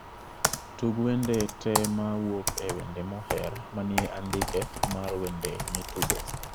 Tug wende te mawuok e wende moher manie andike mar wende mitugo